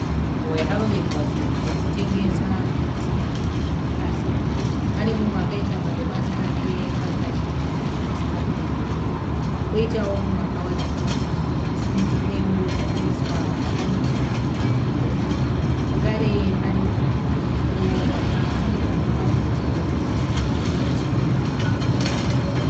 Nzvimbo yakarongenzwa zvinhu zvokutengesa zvakasiyana zviri pasi. Pane mumwe akaisa madomasi ake pakachigaro kasina kunyanyoreba. Poitawo umwe akawaridza mbatya dzake pasi dzimwewo dzakaiswa dzakamira pazvimahen'a. Zvakare pane mugwagwa uripo wakapatsanuka umwe uchienda kurutivi umwe kurutivi.